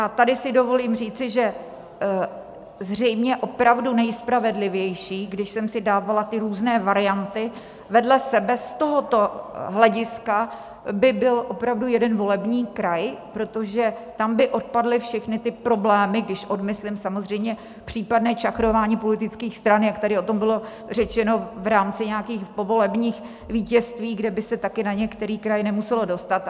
A tady si dovolím říci, že zřejmě opravdu nejspravedlivější, když jsem si dávala ty různé varianty vedle sebe z tohoto hlediska, by byl opravdu jeden volební kraj, protože tam by odpadly všechny ty problémy, když odmyslím samozřejmě případné čachrování politických stran, jak tady o tom bylo řečeno, v rámci nějakých povolebních vítězství, kde by se taky na některý kraj nemuselo dostat.